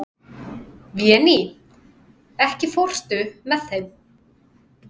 Véný, ekki fórstu með þeim?